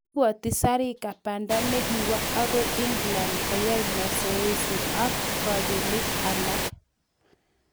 Igosegei Zarika banda negiwo agoi England koyai mazoezi ak kobelik alak